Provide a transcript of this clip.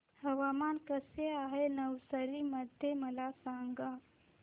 हवामान कसे आहे नवसारी मध्ये मला सांगा